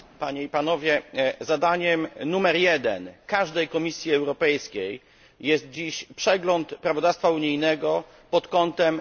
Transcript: Zadaniem numer jeden każdej Komisji Europejskiej jest dziś przegląd prawodawstwa unijnego pod kątem konkurencyjności.